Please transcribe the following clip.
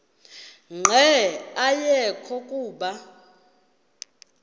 nqe ayekho kuba